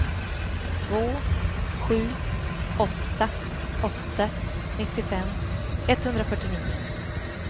två sju åtta åtta nittiofem etthundrafyrtionio